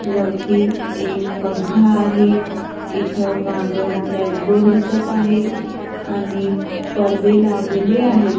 वरती एक पंखा आहे इथं मागं ब्लॅक बोर्ड दिसत आहे आणि पडदे लावलेले आहे.